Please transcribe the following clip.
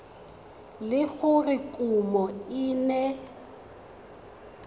le gore kumo e ne